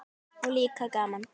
Og líka gaman.